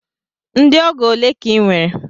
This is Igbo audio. Ndị ọgọ ole ka i nwere?